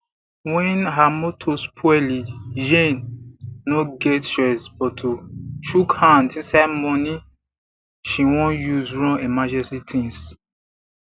when her motor spoli jane no get choice but to chuk hand inside money she won use run emergency tins